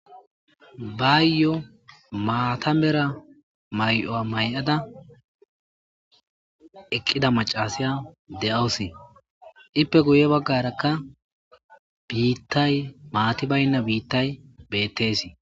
bayyo maatamera may7oa may7ada eqqida macasiya de7awusi ippe guye baggarakka biittay maati baynna biittay bettesii